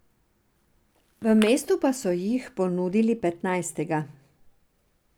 V mestu pa so jih ponudili petnajstega.